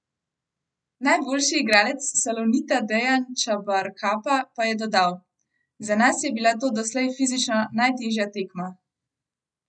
Najboljši igralec Salonita Dejan Čabarkapa pa je dodal: "Za nas je bila to doslej fizično najtežja tekma.